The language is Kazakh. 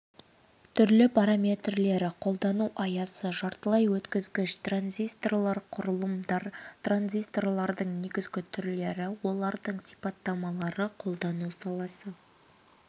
түрлері параметрлері қолдану аясы жартылай өткізгіш транзисторлар құрылымдар транзисторлардың негізгі түрлері олардың сипаттамалары қолдану саласы